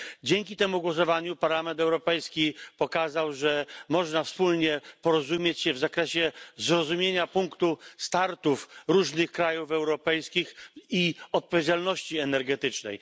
Dzięki temu głosowaniu Parlament Europejski pokazał, że można wspólnie porozumieć się w zakresie zrozumienia punktów wyjścia różnych krajów europejskich i odpowiedzialności energetycznej.